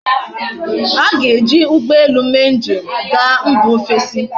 A ga eji ugbo ele mee nji ga mba ofesi